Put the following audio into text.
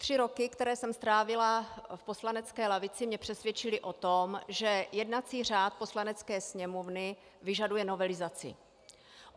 Tři roky, které jsem strávila v poslanecké lavici, mě přesvědčily o tom, že jednací řád Poslanecké sněmovny vyžaduje novelizaci.